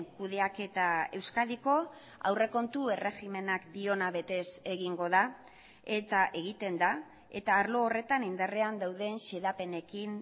kudeaketa euskadiko aurrekontu erregimenak diona betez egingo da eta egiten da eta arlo horretan indarrean dauden xedapenekin